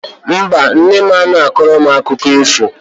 Mba, nne m anaghị akọrọ m akụkọ ifo.